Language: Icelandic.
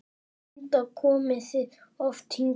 Linda: Komið þið oft hingað?